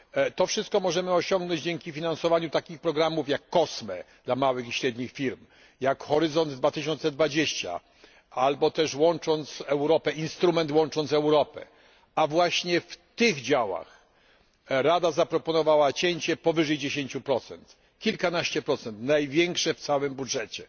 To wszystko możemy osiągnąć dzięki finansowaniu takich programów jak COSME dla małych i średnich firm, jak Horyzont 2020 albo też instrument Łącząc Europę, a właśnie w tych działach Rada zaproponowała cięcie powyżej 10, kilkanaście procent największe w całym budżecie.